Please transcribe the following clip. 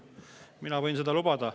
Mina võin seda lubada.